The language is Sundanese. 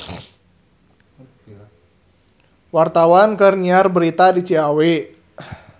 Wartawan keur nyiar berita di Ciawi